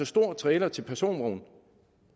stor trailer til personvogn